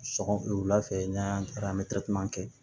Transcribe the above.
Sɔgɔ wulafɛ n'an y'an taara an bɛ kɛ